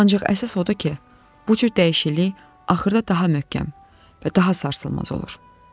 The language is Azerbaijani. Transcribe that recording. Ancaq əsas odur ki, bu cür dəyişiklik axırda daha möhkəm və daha sarsılmaz olur.